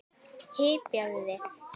Hypjaðu þig!